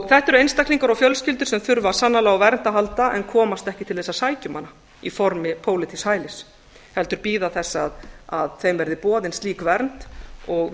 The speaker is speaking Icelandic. þetta eru einstaklingar og fjölskyldur sem þurfa sannarlega á vernd að halda en komast ekki til að sækja um hana í formi pólitísks hælis heldur bíða þess að þeim verði boðin slík vernd og